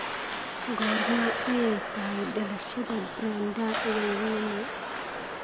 Goorma ayay tahay dhalashada Brenda Wairimu?